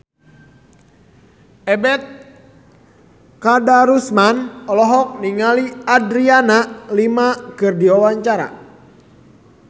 Ebet Kadarusman olohok ningali Adriana Lima keur diwawancara